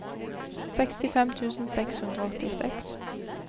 sekstifem tusen seks hundre og åttiseks